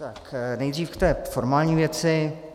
Tak nejdřív k té formální věci.